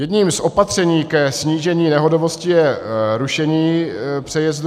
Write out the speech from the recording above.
Jedním z opatření ke snížení nehodovosti je rušení přejezdů.